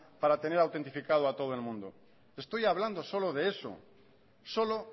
para tener autentificado a todo el mundo estoy hablando solo de eso solo